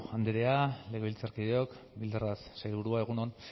andrea legebiltzarkideok bildarratz sailburua egun on